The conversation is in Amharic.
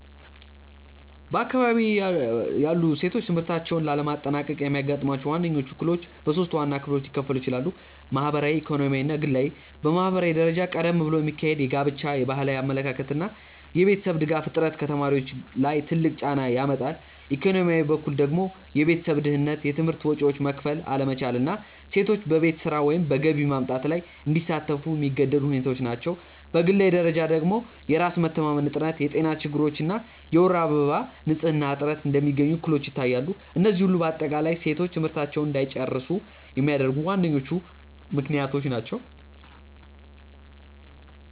በአካባቢዬ ያሉ ሴቶች ትምህርታቸውን ላለማጠናቀቅ የሚያጋጥሟቸው ዋነኞቹ እክሎች በሶስት ዋና ክፍሎች ሊከፈሉ ይችላሉ። ማህበራዊ፣ ኢኮኖሚያዊ እና ግላዊ። በማህበራዊ ደረጃ ቀደም ብሎ የሚካሄድ ጋብቻ፣ የባህላዊ አመለካከት እና የቤተሰብ ድጋፍ እጥረት ከተማሪዎች ላይ ትልቅ ጫና ያመጣሉ፤ ኢኮኖሚያዊ በኩል ደግሞ የቤተሰብ ድህነት፣ የትምህርት ወጪዎችን መክፈል አለመቻል እና ሴቶች በቤት ስራ ወይም በገቢ ማምጣት ላይ እንዲሳተፉ የሚገደዱ ሁኔታዎች ናቸው፤ በግላዊ ደረጃ ደግሞ የራስ መተማመን እጥረት፣ የጤና ችግሮች እና የወር አበባ ንፅህና እጥረት እንደሚገኙ እክሎች ይታያሉ፤ እነዚህ ሁሉ በአጠቃላይ ሴቶች ትምህርታቸውን እንዳይጨርሱ የሚያደርጉ ዋነኞቹ ምክንያቶች ናቸው።